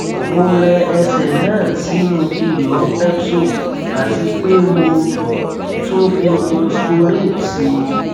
mo rẹ ẹsẹ náà sínú iyọ epsom àti pé mo tún fi neosporin sí i